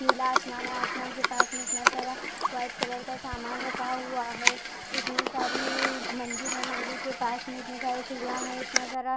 नीला आसमान है आसमान के पास में इतना सारा वाईट कलर का सामान रखा हुआ है इतनी सारी मंजिल है मंजिल के पास में इतनी सारी सीढीया है इतना सारा--